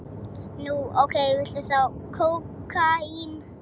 Nú, ókei, viltu þá kókaín?